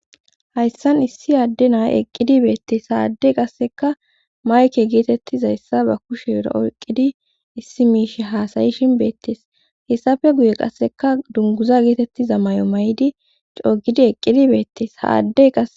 hayssan issi adde nayi eqqidi beettes ha addey qaseka mayke geetettizayssa ba kushera oyqqidi issi miishe haasayishin beettees hessafe guye qasseka dunguza geetettiza may7o may7di coogidi eqqidi beettes ha addey qa.